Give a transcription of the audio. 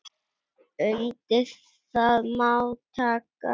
Undir það má taka.